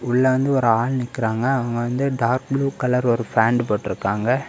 உள்ள வந்து ஒரு ஆள் நிக்கிறாங்க அவங்க வந்து டார்க் ப்ளூ கலர் ஒரு ஃபேன்ட் போட்டுருக்காங்க.